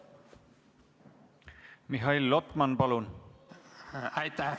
Mihhail Lotman, palun!